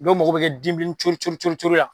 Dɔw mago bɛ kɛ den bilennin cori cori cori la